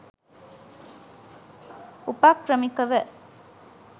උපක්‍රමිකව